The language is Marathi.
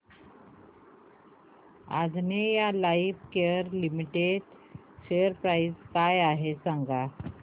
Anjaneya lifecare limited share price काय आहे सांगा